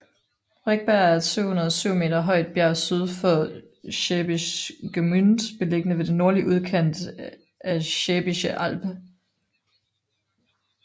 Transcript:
Rechberg er et 707 meter højt bjerg syd for Schwäbisch Gmünd beliggende ved den nordlige udkant af Schwäbische Alb